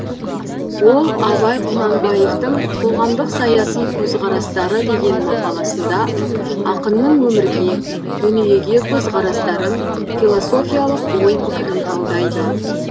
ол абай құнанбаевтың қоғамдық саяси көзқарастары деген мақаласында ақынның өмірге дүниеге көзқарастарын философиялық ой пікірін талдайды